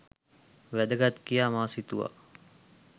වැදගත් කියා මා සිතුවා.